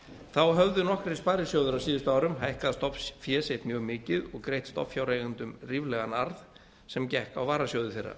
þá höfðu nokkrir sparisjóðir á síðustu árum hækkað stofnfé sitt mjög mikið og greitt stofnfjáreigendum ríflegan arð sem gekk á varasjóði þeirra